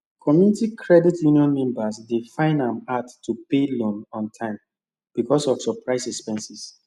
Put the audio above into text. community credit union members dey find am hard to pay loan on time because of surprise expenses